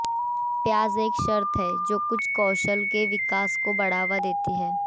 ब्याज एक शर्त है जो कुछ कौशल के विकास को बढ़ावा देती है